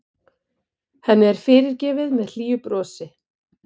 Henni er fyrirgefið með hlýju brosi.